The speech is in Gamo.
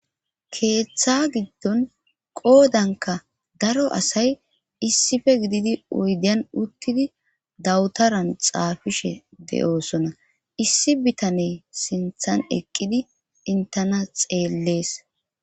Keeththa giddon qoodanka daro asay issife gididi oydan uttidi dawutaran xaafishe de'oosona issi bitane sinthan eqqidi intena xeellees.